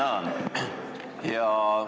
Tänan!